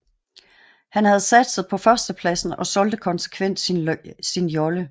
Han havde satset på førstepladsen og solgte konsekvent sin jolle